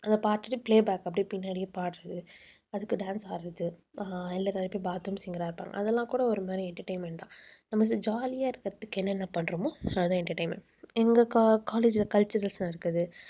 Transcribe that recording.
அதைப் பாத்துட்டு playback அப்படியே பின்னாடியே பாடுறது. அதுக்கு dance ஆடுறது அஹ் இல்ல bathroom singer ஆ இருப்பாங்க. அதெல்லாம் கூட ஒரு மாதிரி entertainment தான். நம்ம jolly ஆ இருக்கறதுக்கு என்னென்ன பண்றோமோ அதுதான் entertainment எங்க college ல culturals நடக்குது